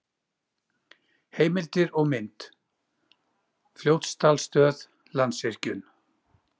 Heimildir og mynd: Fljótsdalsstöð- Landsvirkjun.